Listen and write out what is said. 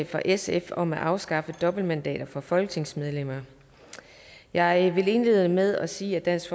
fra sf om at afskaffe dobbeltmandater for folketingsmedlemmer jeg vil indlede med at sige at dansk